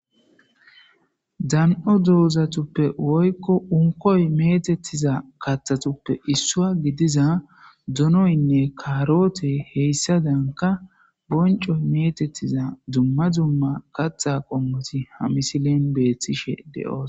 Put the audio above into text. .Dan7o dozatuppe woykko unkkoy meetettizakaththatuppe isso geettettizappdonoynne kaarotey hessaadankka bonccoy meetettiza dumma dumma katha qommoti hamisilen beettishe de7oosona.